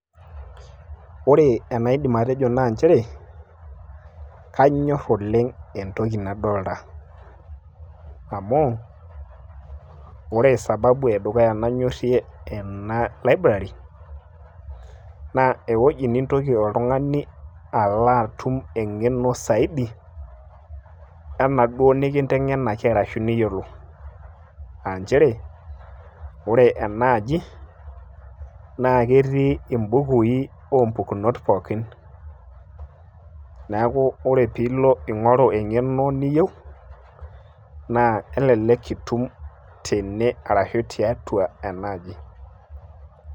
ore enaidim atejo, anyor oleng entoki nadolita, amu ore sababu edukuya nanyorie, ena library, naa ewueji nintoki oltungani alo atum, eng'eno saidi, enaduoo nikintenganaki arashu eniyiolo, aa nchere oe ena aji naa ketii ibukui oo mpukunot pooki. neeku ore pe ilo ing'oru engeno niyieu, naa kelelek itum tene ashu tiatua ena aji.